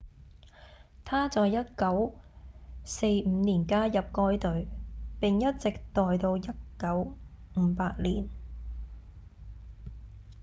他在1945年加入該隊並一直待到1958年